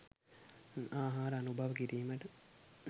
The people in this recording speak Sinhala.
ආහාර අනුභව කිරීමට